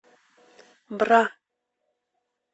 бра